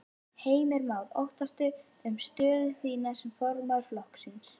Heimir Már: Óttastu um stöðu þín sem formaður flokksins?